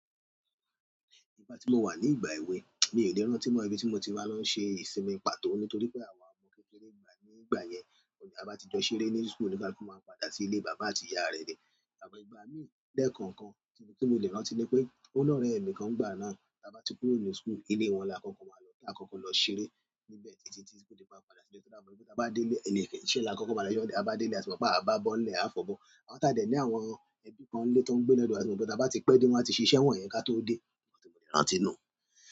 Ìgbà tí mo wà ní ìgbà èwe, mi ò lè rántí tí mó ibi tí mo ti ma lọ n ṣe ìsinmi pàtó nítorí pé àwa ọmọ kékeré ígbà nígbà yẹn, t'abá ti jọ ṣeré ní school olúkálukú máa padà sí ilé bàbá àti ìyá rè ni àmó ìgbà míì léènkàn kan tí mo lè rántí ni pé óní òréè mi kan nígbà náà, tí a bá ti kúrò ní school, ilé wọn la kókó máa lọ kí a kọ́kọ́ lọ ṣeré níbẹ̀ títí tí kó di pé a padà sílé. Ta ba dele iṣẹ́ la ma—ta ba dele àti mo pe a ba bo n le a fo abo tà dẹ̀ ní àwọn ẹbí kan ńlé tó ń gbé lọ́dọ̀ wa, àti mo tí a bá ti pẹ́ dé wọ́n ti ṣe iṣẹ́ wọn yẹn ká tó dé. Mo ti lè rántí nù.